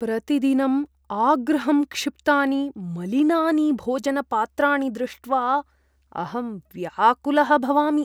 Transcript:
प्रतिदिनं आगृहं क्षिप्तानि मलिनानि भोजनपात्राणि दृष्ट्वा अहं व्याकुलः भवामि।